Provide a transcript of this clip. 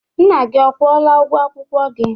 Nna gị ọ kwụọla ụgwọ akwụkwọ gị?